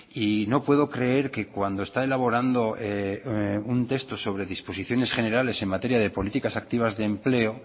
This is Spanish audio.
y no puedo creer que cuando está elaborando un texto sobre disposiciones generales en materia de políticas activas de empleo